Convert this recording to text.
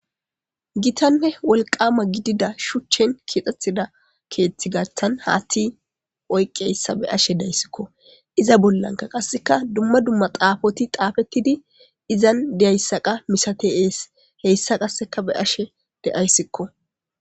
Gitanne wolqama gidida shuchen kexetida keeththi gathan haththi oyiqiyaysa be'ashe de'ayisiko. Iza bolanka qaseka dumma dumma xafoti xafetid izan diyayisa qa misates. Heysa qaseka be'ashe dayisiko.